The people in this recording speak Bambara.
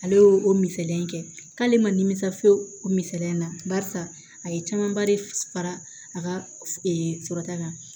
Ale y'o o misaliya kɛ k'ale ma nimisi o misaliya na barisa a ye camanba de fara a ka sɔrɔta kan